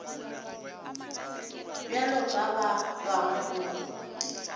bjalo ka ba bangwe o